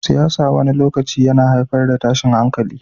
Siyasa wani lokaci yana haifar da tashin hankali.